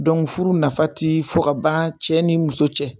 furu nafa ti fɔ ka ban cɛ ni muso cɛ